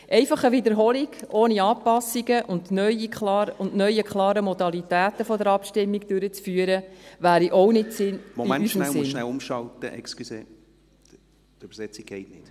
Einfach eine Wiederholung durchzuführen, ohne Anpassungen und neue klare Modalitäten der Abstimmung, dies wäre auch nicht in unserem Sinn.